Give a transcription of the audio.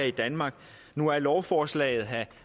i danmark nu er lovforslaget her